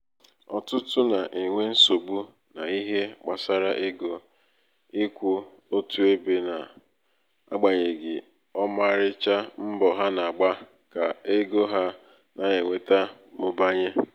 ọ̀tụtụ nà-ènwe nsogbu n’ihe gbàsara ego ịkwụ̄ otù ebē na--agbànyèghì ọmarịcha mbọ̀ ha nà-àgba ka ego ha nà-ènweta mụbanye.